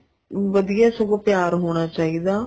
ਵਧੀਆ ਏ ਸਗੋਂ ਪਿਆਰ ਹੋਣਾ ਚਾਹੀਦਾ